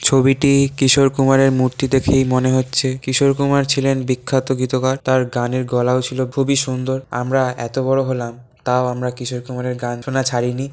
ছবিটি কিশোর কুমারের মূর্তি দেখেই মনে হচ্ছে। কিশোর কুমার ছিলেন বিখ্যাত গীতকার। তার গানের গলাও ছিল খুবই সুন্দর। আমরা এত বড় হলাম তাও আমরা কিশোর কুমারের গান শোনা ছাড়িনি।